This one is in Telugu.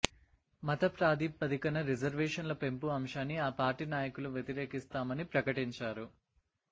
మత ప్రాతిపదికన రిజర్వేషన్ల పెంపు అంశాన్ని ఆ పార్టీ నాయకులు వ్యతిరేకిస్తామని ప్రకటించారు